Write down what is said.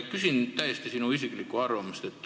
Küsin täiesti sinu isiklikku arvamust.